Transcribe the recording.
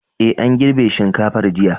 Ee, an girbe shinkafar jiya.